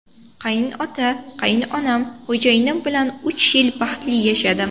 Qaynota, qaynonam, xo‘jayinim bilan uch yil baxtli yashadim.